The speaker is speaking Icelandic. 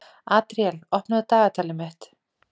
Adríel, opnaðu dagatalið mitt.